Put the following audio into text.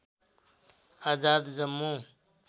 Azad Jammu